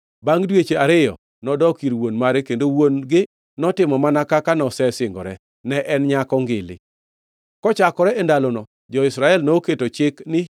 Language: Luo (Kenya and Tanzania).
Bangʼ dweche ariyo, nodok ir wuon mare kendo wuon-gi notimo mana kaka nosesingore. Ne en nyako ngili. Kochakore e ndalono, jo-Israel noketo chik ni